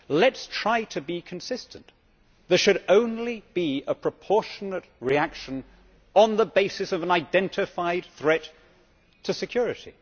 Let us try to be consistent. There should only be a proportionate reaction on the basis of an identified threat to security.